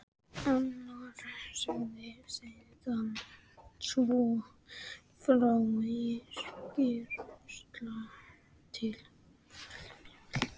Agnar sagði síðar svo frá í skýrslu til dómsmálaráðherra